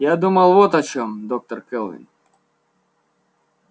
я думал вот о чем доктор кэлвин